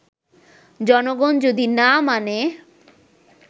জনগণ যদি না মানে